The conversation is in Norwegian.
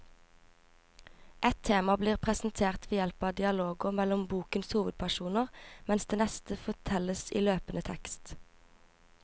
Ett tema blir presentert ved hjelp av dialoger mellom bokens hovedpersoner, mens det neste fortelles i løpende tekst.